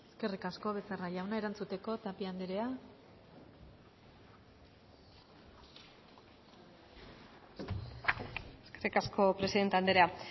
eskerrik asko becerra jauna erantzuteko tapia andrea eskerrik asko presidente andrea